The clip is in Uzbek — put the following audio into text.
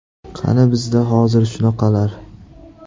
Qani bizda hozir shunaqalar?..